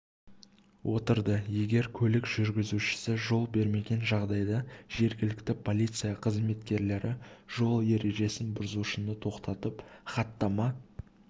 отырды егер көлік жүргізушісі жол бермеген жағдайда жергілікті полиция қызметкерлері жол ережесін бұзушыны тоқтатып хаттама